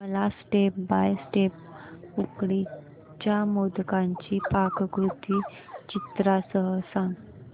मला step by step उकडीच्या मोदकांची पाककृती चित्रांसह सांग